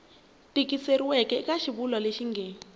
tikisiweke eka xivulwa lexi nge